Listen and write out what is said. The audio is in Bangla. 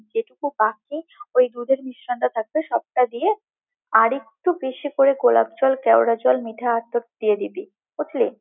একটু আঁচে ওই দুধের মিশ্রণটা থাকবে, সবটা দিয়ে, আরেকটু বেশি করে গোলাপ জল, কেওড়ার জল, মিঠা আতর দিয়ে দিবি, বুঝলি?